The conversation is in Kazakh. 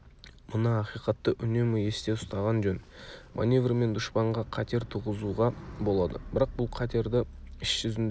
мына ақиқатты үнемі есте ұстаған жөн маневрмен дұшпанға қатер туғызуға болады бірақ бұл қатерді іс жүзінде